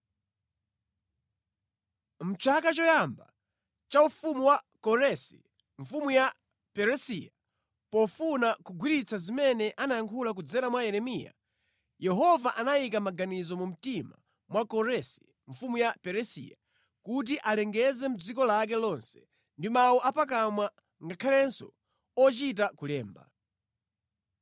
Mʼchaka choyamba cha ufumu wa Koresi mfumu ya Perisiya, pofuna kukwaniritsa zimene anayankhula kudzera mwa Yeremiya, Yehova anayika maganizo mu mtima mwa Koresi mfumu ya Perisiya kuti alengeze mʼdziko lake lonse ndi mawu apakamwa ngakhalenso ochita kulemba.